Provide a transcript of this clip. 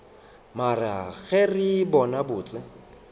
mare ge re bona botse